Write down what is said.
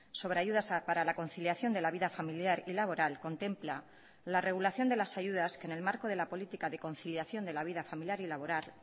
sobre ayudas para la conciliación de la vida familiar y laboral contempla la regulación de las ayudas que en el marco de la política de conciliación de la vida familiar y laboral